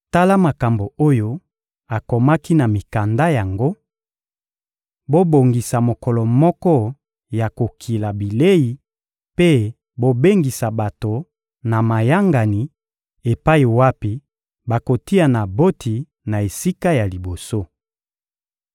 Tala makambo oyo akomaki na mikanda yango: «Bobongisa mokolo moko ya kokila bilei mpe bobengisa bato na mayangani epai wapi bokotia Naboti na esika ya liboso.